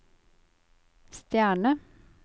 stjerne